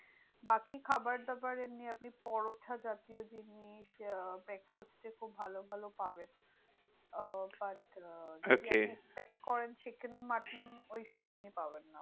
বাকি খাবার দাবার এমনি আপনি পরোটা জাতীয় জিনিস আহ breakfast এ খুব ভালো ভালো পাবেন। আহ okay expect করেন chicken mutton ওইসব পাবেন না।